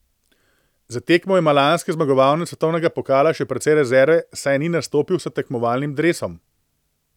Za tekmo ima lanski zmagovalec svetovnega pokala še precej rezerve, saj ni nastopil s tekmovalnim dresom.